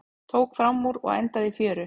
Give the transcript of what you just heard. Tók framúr og endaði í fjöru